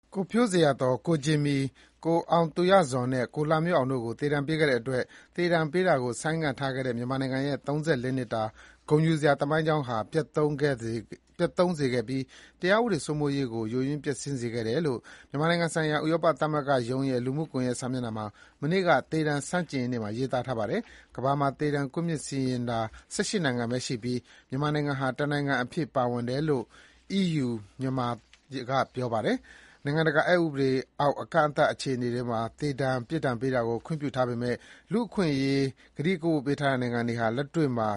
ကိုဖြိုးဇေယျာသော်၊ ကိုဂျင်မီ၊ ကိုအောင်သူရဇော်နဲ့ ကိုလှမျိုးအောင်တို့ကို သေဒဏ်ပေးခဲ့တဲ့အတွက် သေဒဏ်ပေးတာကိုဆိုင်းငံ့ထားခဲ့တဲ့ မြန်မာနိုင်ငံရဲ့ ၃၄ နှစ်တာ ဂုဏ်ယူစရာသမိုင်းကြောင်းကို ပျက်သုဉ်းစေခဲ့ပြီး တရားဥပဒေစိုးမိုးရေးကို ပိုမိုပျက်ယွင်းစေခဲ့တယ်လို့ မြန်မာနိုင်ငံဆိုင်ရာ ဥရောပသမဂ္ဂရုံးရဲ့ လူမှုကွန်ယက် စာမျက်နှာမှာ မနေ့က သေဒဏ်ဆန်ု့ကျင်ရေးနေ့မှာ ရေးသားထားပါတယ်။ ကမ္ဘာမှာ သေဒဏ်ကွပ်မျက်စီရင် တာ ၁၈ နိုင်ငံပဲရှိပြီး မြန်မာနိုင်ငံဟာ တနိုင်ငံအဖြစ်ပါဝင်လာခဲ့တယ်လို့ အီးယူမြန်မာကဆိုပါတယ်။ နိုင်ငံတကာ ဥပဒေအောက်၊ အကန့်အသတ်အခြေအနေထဲမှာ သေဒဏ်အပြစ်ပေးတာကိုခွင့်ပြုထားပေမယ့် လူ့အခွင့်အရေးဆိုင်ရာ ကတိကဝတ်ထားထားတဲ့ နိုင်ငံတွေဟာ လက်တွေ့မှာ